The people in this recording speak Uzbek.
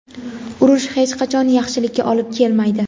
urush hech qachon yaxshilikka olib kelmaydi.